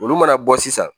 Olu mana bɔ sisan